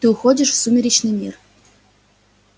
ты уходишь в сумеречный мир